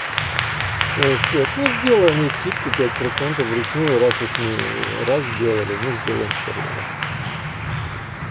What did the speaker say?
свет ну сделай мне скидку пять процентов вручную раз уж мы раз сделали ну сделаем второй раз